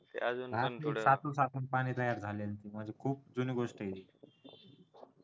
साचून साचून पाणी तयार झालेलं आहे म्हणजे खूप जुनी गोष्ट आहे ही